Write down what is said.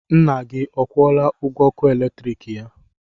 Nna gị ọ kwụọla ụgwọ ọkụ eletrik ya?